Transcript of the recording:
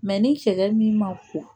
ni cɛ min ma ko